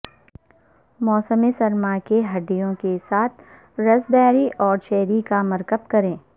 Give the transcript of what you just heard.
موسم سرما کے ہڈیوں کے ساتھ راسبیری اور چیری کا مرکب کریں